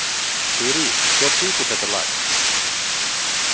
Þurý, hver syngur þetta lag?